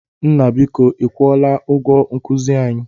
Nna, biko ị kwụọla ụgwọ nkuzi anyị?